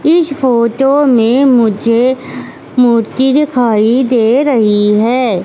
इस फोटो में मुझे मूर्ति दिखाई दे रही है।